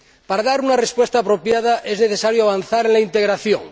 Para dar una respuesta apropiada, es necesario avanzar en la integración.